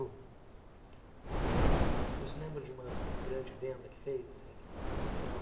Você se lembra de uma grande venda que fez, assim, especial?